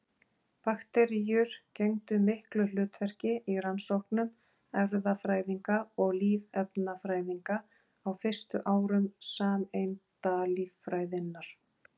Bakteríur gegndu miklu hlutverki í rannsóknum erfðafræðinga og lífefnafræðinga á fyrstu árum sameindalíffræðinnar.